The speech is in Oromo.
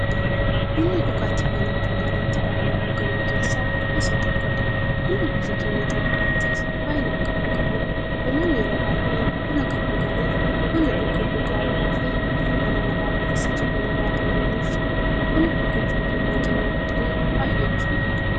Bunni dhugaatiiwwan addunyaarratti baay'inaan dhugaman keessaa isa tokkodha. Bunni biyya keenya Itiyoophiyaattis baay'inaan kan dhugamuudha. Namoonni yeroo baay'ee buna kan dhuganiif, buna dhuguun mukaa'ummaafi hirriiba namarraa balleessa jedhanii waan amananiifi. Buna dhuguun fayyummaa keenyaf illee baay'ee nu fayyada.